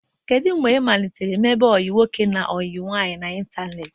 Kedu mgbe ị malitere ime ọyi nwoke na nwaanyị n'ịntanetị.